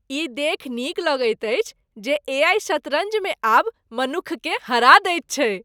ई देखि नीक लगैत अछि जे ए.आइ. शतरञ्जमे आब मनुक्खकेँ हरा दैत छैक।